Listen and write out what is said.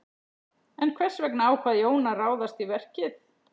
En hvers vegna ákvað Jón að ráðast í verkið?